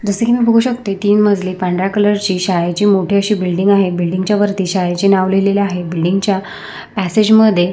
जस की मी बघू शकते तीन मजली पांढऱ्या कलर ची शाळेची मोठी अशी बिल्डिंग आहे बिल्डिंग च्या वरती शाळेचे नाव लिहलेले आहे बिल्डिंग च्या पसेज मध्ये--